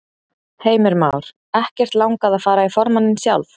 Heimir Már: Ekkert langað að fara í formanninn sjálf?